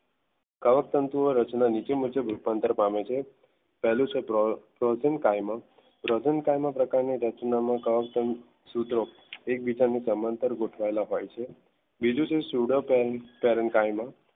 કર્ણ તનતો નીચે મુજબ રૂપાંતર પામે છે પહેલું છે project ગાયન પ્રોજન ગાયના પ્રકારની રચના નામનું સૂત્રો એકબીજાને સમાંતર ગોઠવવાના હોય છે. બીજું છે સુડો કેમ